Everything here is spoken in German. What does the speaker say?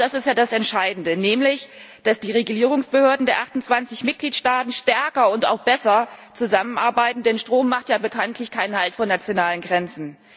Und genau das ist das Entscheidende, nämlich dass die Regulierungsbehörden der 28 Mitgliedstaaten stärker und auch besser zusammenarbeiten, denn Strom macht bekanntlich keinen Halt vor nationalen Grenzen.